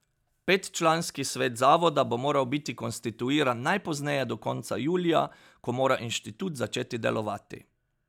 Petčlanski svet zavoda bo moral biti konstituiran najpozneje do konca julija, ko mora inštitut začeti delovati.